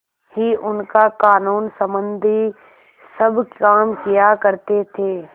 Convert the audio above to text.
ही उनका कानूनसम्बन्धी सब काम किया करते थे